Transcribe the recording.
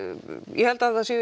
ég held að